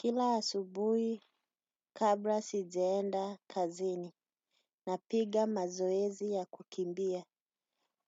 Kila asubuhi kabla sijaenda kazini napiga mazoezi ya kukimbia.